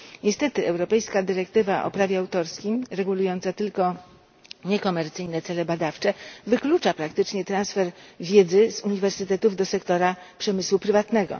Niestety europejska dyrektywa o prawie autorskim regulująca tylko niekomercyjne cele badawcze wyklucza praktycznie transfer wiedzy z uniwersytetów do sektora przemysłu prywatnego.